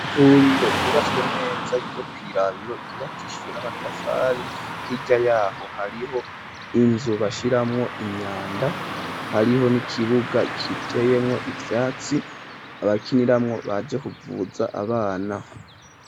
Imvuriro ryubatswe neza ryo ku irabitaro ryubakishijwe n'amatafari h'ijya yaho hariho inzu bashiramwo imyanda hariho n'ikibuga kiteyemwo ivyatsi abakiniramwo baje kuvuza abana.